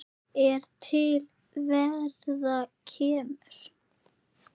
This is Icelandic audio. er til verðar kemur